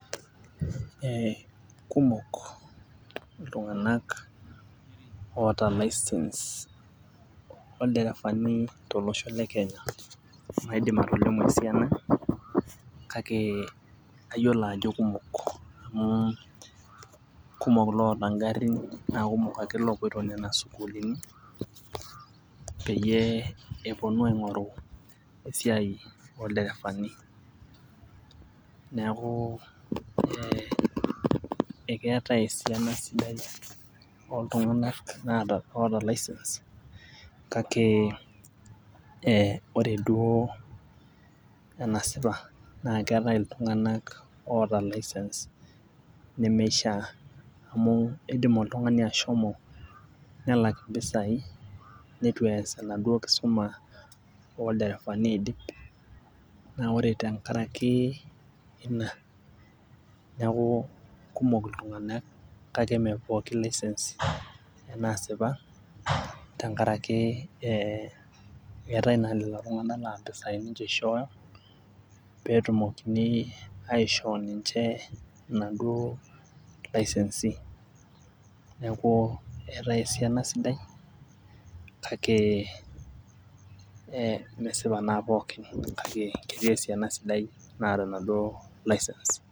ee kumok iltunganak oota license oolderefani tolosho le kenya, maidim atolimu esiana kake kayiolo ajo kumok. amu kumok ilooota garin. naa kumok ake loopoito nena sukuuluni peyie epuonu aing'oru esiia oolderefani. neeku ekeetae esiaina sidia ooltungana loota license kake, ee ore duoo enasipa naakeetae iltunganak oota license nemishaa. amu idim oltungani ashomo nelak mpisai, neitu ees endauoo kisuma oolderefani aidip. naa ore tenkaraki, ina. neeku kumok iltunganak kake ime pookin license naasipa, tenkaraki eetae naa lelo tunganak laa mpisai nince ishooyo. pee etumokini aishoo ninche inaduoo license. neeku eetae esiaina sidai kake, ee mesipa naa pookin. kake kesidai ena naata enaduoo license.